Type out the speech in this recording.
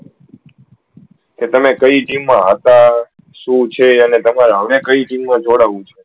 કે એ તમે કઈ team મા હતા શું છે અને તમારે હવે કઈ team મા જોડાવું છે